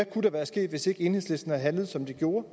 kunne være sket hvis ikke enhedslisten havde handlet som de gjorde